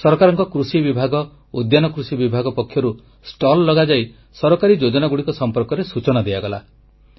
ସରକାରଙ୍କ କୃଷି ବିଭାଗ ଉଦ୍ୟାନ କୃଷି ବିଭାଗ ପକ୍ଷରୁ ଷ୍ଟଲ ଲଗାଯାଇ ସରକାରୀ ଯୋଜନାଗୁଡ଼ିକ ସମ୍ପର୍କରେ ସୂଚନା ଦିଆଗଲା